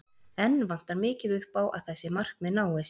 Enn vantar mikið upp á að þessi markmið náist.